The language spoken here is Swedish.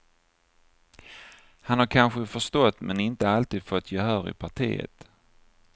Han har kanske förstått men inte alltid fått gehör i partiet.